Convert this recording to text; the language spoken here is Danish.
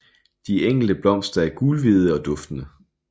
De enkelte blomster er gulhvide og duftende